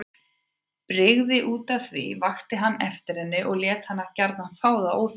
Brygði útaf því, vakti hann eftir henni og lét hana gjarna fá það óþvegið.